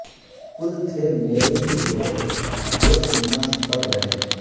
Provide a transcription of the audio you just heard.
کل تھے میرے ہی لوگ جو سینا سپر رہے